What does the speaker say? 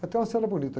É até uma cena bonita.